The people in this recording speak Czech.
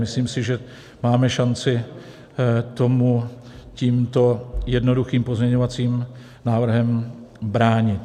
Myslím si, že máme šanci tomu tímto jednoduchým pozměňovacím návrhem bránit.